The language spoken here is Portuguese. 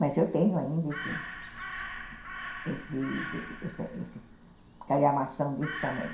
Mas eu tenho ainda esse esse esse calhamação desse tamanho.